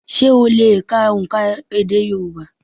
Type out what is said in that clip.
Sé ó le è ka òǹkà èdè Yorùbá?